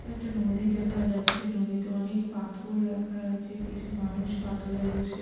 একটা নদী দেখা যাচ্ছে নদীতে অনেক পাথর রাখা আছে কিছু মানুষ পাথরে বসে--